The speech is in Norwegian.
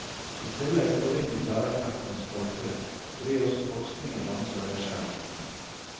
I tillegg forringes lærerkreftenes kvalitet fordi også forskningen rammes av nedskjæringene.